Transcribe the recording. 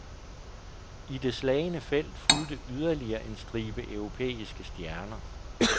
I det slagne felt fulgte yderligere en stribe europæiske stjerner.